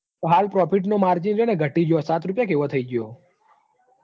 તો હાલ profit નું margin હન ઘટી જ્યું હ. સાત રૂપિયા કે એવું થઇ જ્યું હ.